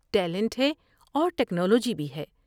Talent ہے اور technology بھی ہے ۔